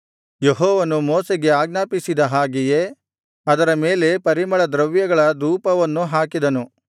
ಯೆಹೋವನು ಮೋಶೆಗೆ ಆಜ್ಞಾಪಿಸಿದ ಹಾಗೆಯೇ ಅದರ ಮೇಲೆ ಪರಿಮಳ ದ್ರವ್ಯಗಳ ಧೂಪವನ್ನು ಹಾಕಿದನು